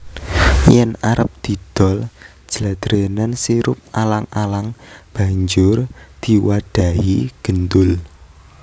Yen arep didol jladrenan sirup alang alang banjur diwadhahi gendul